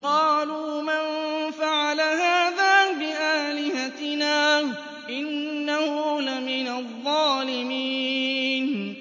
قَالُوا مَن فَعَلَ هَٰذَا بِآلِهَتِنَا إِنَّهُ لَمِنَ الظَّالِمِينَ